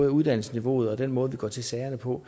af uddannelsesniveauet og den måde vi går til sagerne på